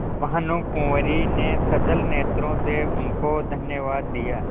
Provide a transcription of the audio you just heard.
भानुकुँवरि ने सजल नेत्रों से उनको धन्यवाद दिया